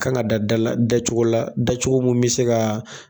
Kan ka da dala da cogo la da cogo mun be se ga